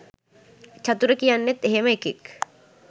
චතුර කියන්නෙත් එහෙම එකෙක්